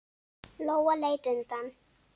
Lóa leit undan.